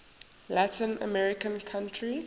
latin american country